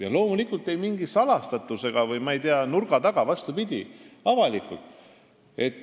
Ja loomulikult mitte salaja või nurga taga, vastupidi – avalikult.